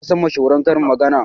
Eh nasan mashahuran karin magana.